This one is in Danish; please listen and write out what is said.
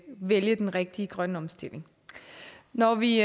vælge den rigtige grønne omstilling når vi